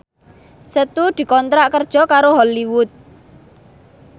Setu dikontrak kerja karo Hollywood